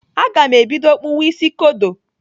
Aga m ebido kpụwa isi kodo.